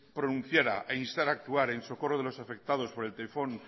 pronunciara e instara actuar en socorro de los afectados por el tifón